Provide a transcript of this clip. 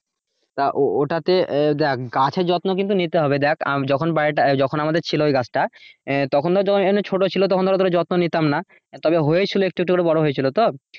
তা ও ও তাতে দেখ গাছের যত্ন কিন্তু নিতে হবে দেখ যখন বাড়িটা যখন আমারদের ছিল ওই গাছটা আহ তখন তো ছোটো ছিল তখন তো অতটা যত্ন নিতাম না তবে হয়েছিল একটু একটু করে বড়ো হয়েছিল তো।